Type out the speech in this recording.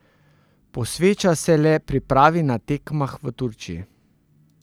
Posveča se le pripravi na tekmah v Turčiji.